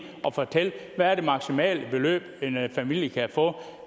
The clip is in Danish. at fortælle hvad det maksimale beløb en familie kan få